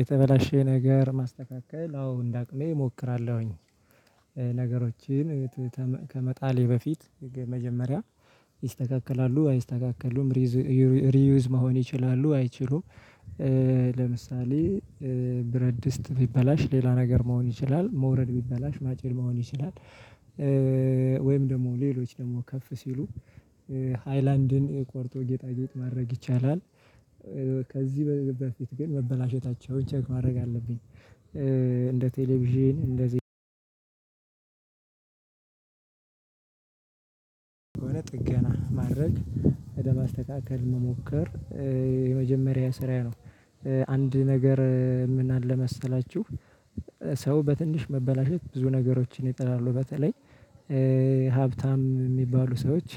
የተበላሸ ነገር ማስተካከል አዎ እንደ አቅሜ እሞክራለሁኝ። ነገሮችን ከመጣሌ በፊት መጀመሪያ ይስተካከላሉ አይስተካከሉም። ሪዩዝ መሆን ይችላሉ አይችሉም። ለምሳሌ ብረድስት ቢበላሽ ሌላ ነገር መሆን ይችላል ሞረድ ቢበላሽ ማጭድ ሊሆን ይችላል። ወይም ደግሞ ሌሎች ደግሞ ከፍ ሲሉ ሃይላንድን ቆርጦ ጌጣጌጥ ማድረግ ይቻላል። ከዚህ በፊት ግን መበላሸታቸውን ቸግ ማድረግ አለብኝ። እንደ ቴሌቪዥን እንደ ጥገና ማድረግ ወደ ማስተካከል መሞከር የመጀመሪያየ ስራ ነው። አንድ ነገር የምናለ መሰላችሁ። ሰው በትንሽ መበላሸት ብዙ ነገሮችን ይጥላሉ በተለይ ሀብታም የሚባሉ ሰዎች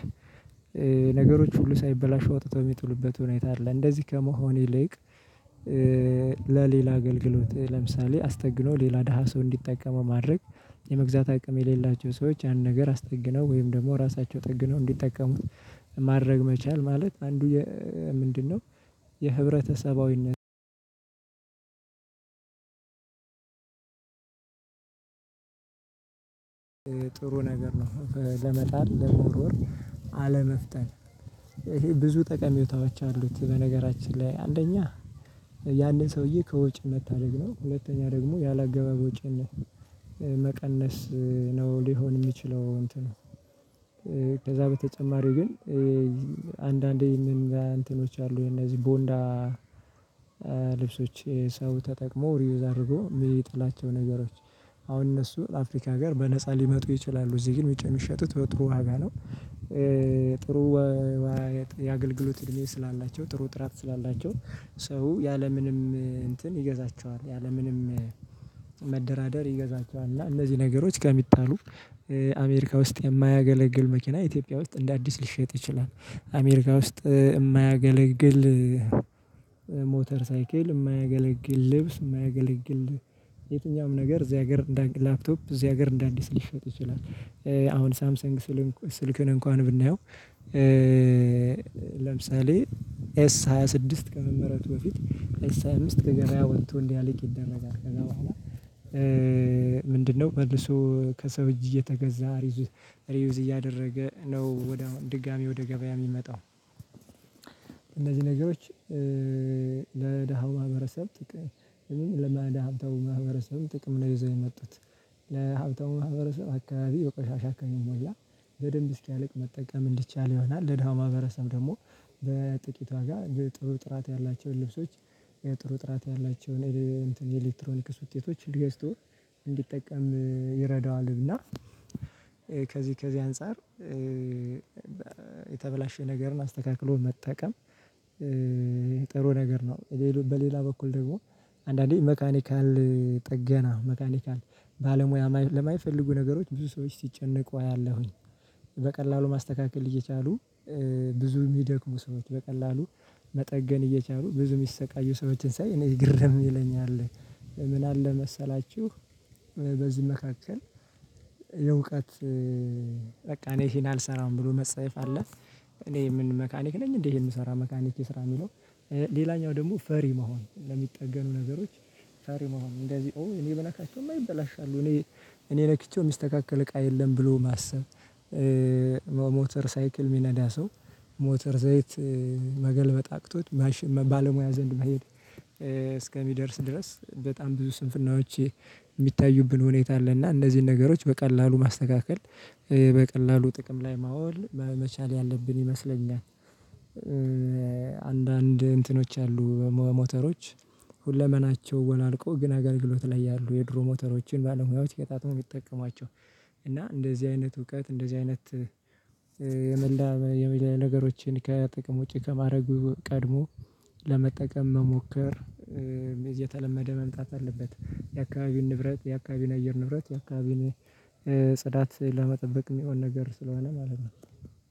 ነገሮች ሁሉ ሳይበላሹ አውጥተው የሚጥሉበት ሁኔታ አለ እንደዚህ ከመሆን ይልቅ። ለሌላ አገልግሎት ለምሳሌ አስጠግኖ ሌላ ደሃ ሰው እንዲጠቀመው ማድረግ። የመግዛት አቅም የሌላቸው ሰዎች ያንን ነገር አስጠግነው ወይም ደግሞ ራሳቸው ጠግነው እንዲጠቀሙት ማድረግ መቻል ማለት አንዱ ምንድነው? የህብረተሰባዊነት ጥሩ ነገር ነው። ለመጣል ለመወርወር አለመፍጠን ይሄ ብዙ ጠቀሜታዎች አሉት። በነገራችን ላይ አንደኛ ያንን ሰውዬ ከወጭ መታደግ ነው። ሁለተኛ ደግሞ ያላግባብ ወጭን መቀነስ ነው። ሊሆን የሚችለው እንትኑ ከዛ በተጨማሪ ግን አንዳንዴ ምን እንትኖች አሉ የነዚህ ቦንዳ። ልብሶች ሰው ተጠቅሞ ሪውዝ አድርጎ የሚጥላቸው ነገሮች አሁን እነሱ አፍሪካ አገር በነፃ ሊመጡ ይችላሉ እዚህ ግን ውጭ የሚሸጡት በጥሩ ዋጋ ነው። ጥሩ የአገልግሎት እድሜ ስላላቸው ጥሩ ጥራት ስላላቸው ሰው ያለምንም እንትን ይገዛቸዋል ያለምንም መደራደር ይገዛቸዋል። እና እነዚህ ነገሮች ከሚጣሉ አሜሪካ ውስጥ የማያገለግል መኪና ኢትዮጵያ ውስጥ እንደ አዲስ ሊሸጥ ይችላል። አሜሪካ ውስጥ የማያገለግል ሞተር ሳይክል የማያገለግል ልብስ የማያገለግል የትኛውም ነገር እዚህ ሀገር እንደ ላፕቶፕ እዚህ ሀገር እንደ አዲስ ሊሸጥ ይችላል። አሁን ሳምሰንግ ስልክን እንኳን ብናየው። ለምሳሌ ኤስ ሃያ ስድስት ከመመረቱ በፊት ኤስ ሃያ አምስት ከገበያ ወቶ እንዲያልቅ ይደረጋል። ምንድነው መልሶ ከሰው እጅ እየተገዛ ሪዩዝ እያደረገ ነው ወደ ድጋሚ ወደ ገበያ የሚመጣው። እነዚህ ነገሮች ለደሃው ማህበረሰብ ጥቅም ለመ ለሀብታሙ ማህበረሰብ ጥቅም ነው። ይዘው የመጡት ለሀብታው ማህበረሰብ አካባቢ የቆሻሻ አከኝ ሞላ በደንብ እስኪያልቅ መጠቀም እንዲቻል ይሆናል። ለድሃ ማህበረሰብ ደግሞ በጥቂት ዋጋ ጥሩ ጥራት ያላቸውን ልብሶች ጥሩ ጥራት ያላቸውን የኤሌክትሮኒክስ ውጤቶች ሊገዝቶ እንዲጠቀም ይረዳዋል። እና ከዚህ ከዚህ አንፃር የተበላሸ ነገርን አስተካክሎ መጠቀም ጥሩ ነገር ነው። በሌላ በኩል ደግሞ አንዳንዴ ሜካኒካል ጥገና መካኒካል ባለሙያ ለማይፈልጉ ነገሮች ብዙ ሰዎች ሲጨንቁ አያለሁኝ። በቀላሉ ማስተካከል እየቻሉ ብዙ የሚደክሙ ሰዎች በቀላሉ መጠገን እየቻሉ ብዙ የሚሰቃዩ ሰዎችን ሳይ እኔ ግር ደግሞ ይለኛል። ምን አለ መሰላችሁ። በዚህ መካከል የእውቀት በቃ እኔ ይህን አልሰራም ብሎ መጸየፍ አለ። እኔ ምን መካኒክ ነኝ እንዴ? ይሄ የምሰራ መካኒክ የሰራ የሚለው ሌላኛው ደግሞ ፈሪ መሆን ለሚጠገኑ ነገሮች ፈሪ መሆን እንደዚህ እኔ ብነካቸው ይበላሻሉ። እኔ እኔ ነክቼው የሚስተካከል እቃ የለም ብሎ ማሰብ። ሞተር ሳይክል የሚነዳ ሰው ሞተር ዘይት መገልበጥ አቅቶት ባለሙያ ዘንድ መሄድ እስከሚደርስ ድረስ በጣም ብዙ ስንፍናዎች የሚታዩብን ሁኔታ አለ። እና እነዚህን ነገሮች በቀላሉ ማስተካከል በቀላሉ ጥቅም ላይ ማወል በመቻል ያለብን ይመስለኛል። አንዳንድ እንትኖች አሉ ሞተሮች ሁለመናቸው ወላልቆ ግን አገልግሎት ላይ ያሉ የድሮ ሞተሮችን ባለሙያዎች ገጣጣመው የሚጠቀሟቸው። እና እንደዚህ አይነት እውቀት እንደዚህ አይነት የመላ የመለያ ነገሮችን ከጥቅም ውጪ ከማድረጉ ቀድሞ ለመጠቀም መሞከር። የተለመደ መምጣት አለበት። የአካባቢን ንብረት የአካባቢን አየር ንብረት የአካባቢን ጽዳት ለመጠበቅ የሚሆን ነገር ስለሆነ ማለት ነው።